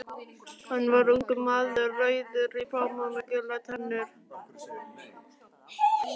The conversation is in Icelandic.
Hann var ungur maður, rauður í framan með gular tennur.